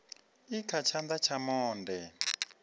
i kha tshana tsha monde